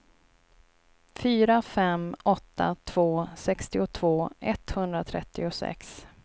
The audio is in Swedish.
fyra fem åtta två sextiotvå etthundratrettiosex